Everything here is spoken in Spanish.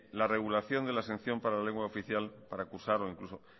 la regulación de la exención para la exención de la lengua oficial para cursarlo o incluso